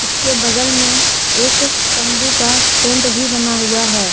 इसके बगल में एक तंबू का टेंट भी बना हुआ है।